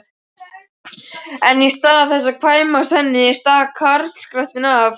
En í stað þess að kvænast henni stakk karlskrattinn af!